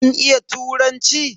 Kin iya turanci?